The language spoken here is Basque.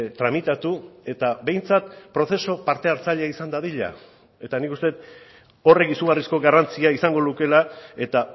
tramitatu eta behintzat prozesu parte hartzaile izan dadila eta nik uste dut horrek izugarrizko garrantzia izango lukeela eta